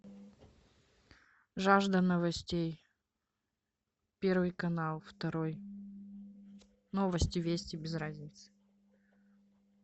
жажда новостей первый канал второй новости вести без разницы